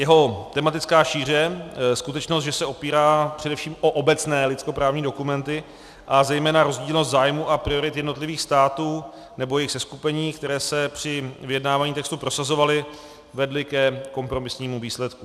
Jeho tematická šíře, skutečnost, že se opírá především o obecné lidskoprávní dokumenty, a zejména rozdílnost zájmů a priorit jednotlivých států nebo jejich seskupení, které se při vyjednávání textu prosazovaly, vedly ke kompromisnímu výsledku.